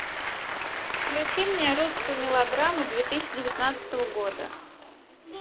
включи мне русскую мелодраму две тысячи девятнадцатого года